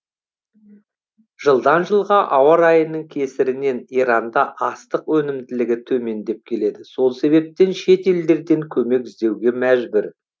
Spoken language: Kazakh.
жылдан жылға ауа райының кесірінен иранда астық өнімділігі төмендеп келеді сол себептен шетелдерден көмек іздеуге мәжбүр